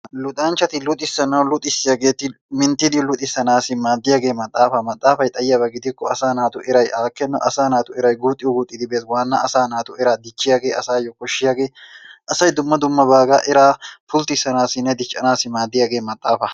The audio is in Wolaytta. Luxanchchati luxissananwu luxiyaageeti minttidi luxissanaassi maaddiyagee maxxaafaa. Maxxaafay xayiyaaba gidikko asaa naatu eray aakkenna asaa naatu erey guuxxi guuxxidi bees. Waanna asaa naatu eraa dichchiyagee asaayyo koshshiyagee asay dumma dumma baagaa eraa pulttissanaassinne diccanaassi maaddiyagee maxxaafaa.